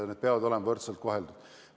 Kõik peavad olema võrdselt koheldud.